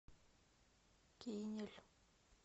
кинель